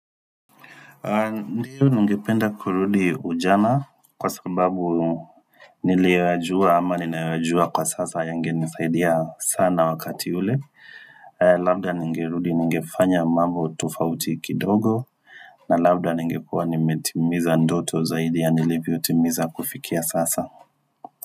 Ndiyo ningependa kurudi ujana kwa sababu niliyoyajua ama ninayoyajua kwa sasa yange nisaidia sana wakati ule Labda nigerudi nigefanya mambo tofauti kidogo na labda ningekua nimetimiza ndoto zaidi ya nilivyo utimiza kufikia sasa.